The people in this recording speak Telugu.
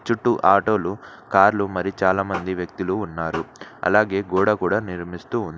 చుట్టూ ఆటోలు కార్లు మరి చాలామంది వ్యక్తులు ఉన్నారు అలాగే గోడ కూడా నిర్మిస్తూ ఉం--